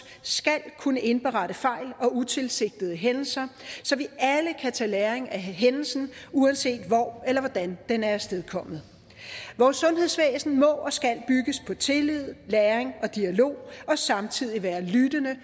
skal kunne indberette fejl og utilsigtede hændelser så vi alle kan tage læring af hændelsen uanset hvor eller hvordan den er afstedkommet vores sundhedsvæsen må og skal bygges på tillid læring og dialog og samtidig være lyttende